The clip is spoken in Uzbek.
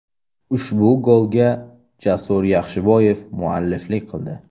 Ushbu golga Jasur Yaxshiboyev mualliflik qildi.